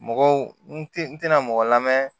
Mɔgɔw n te n tɛna mɔgɔ lamɛn